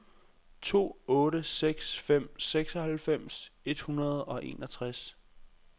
to otte seks fem seksoghalvfems et hundrede og enogtres